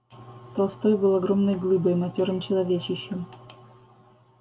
толстой был огромной глыбой матёрым человечищем